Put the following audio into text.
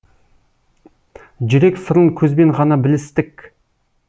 жүрек сырын көзбен ғана білістік